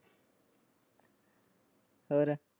ਹੋਰ?